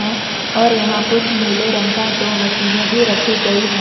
और यहां कुछ नीले रंग का दो मशीने भी रखी गई है।